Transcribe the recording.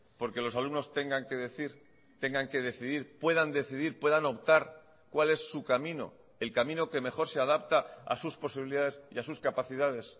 porque los alumnos tengan que decir tengan que decidir puedan decidir puedan optar cuál es su camino el camino que mejor se adapta a sus posibilidades y a sus capacidades